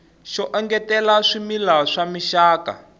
xo engetela swimila swa mixaka